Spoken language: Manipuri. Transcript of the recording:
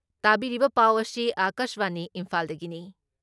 ꯇꯥꯕꯤꯔꯤꯕ ꯄꯥꯎ ꯑꯁꯤ ꯑꯀꯥꯁꯕꯥꯅꯤ ꯏꯝꯐꯥꯜꯗꯒꯤꯅꯤ